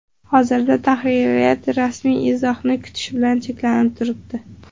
Hozirda tahririyat rasmiy izohni kutish bilan cheklanib turibdi.